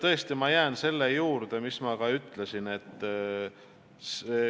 Aga ma jään selle juurde, mida ma juba ütlesin.